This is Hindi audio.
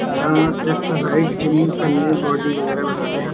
अम्म एक्सरसाइज जिम करने बॉडी वगैरहबनाने आ --.